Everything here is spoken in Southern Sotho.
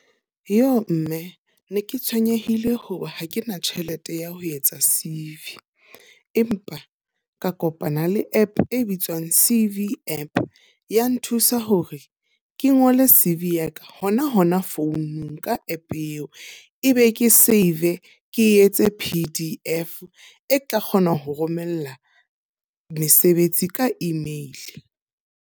Joo! Mme ne ke tshwenyehile hoba ha ke na tjhelete ya ho etsa C_V. Empa ka kopana le app e bitswang C_V app ya nthusa hore ke ngole C_V yaka hona hona founung ka app eo. E be ke save ke etse P_D_F e tla kgona ho romella mesebetsi ka email.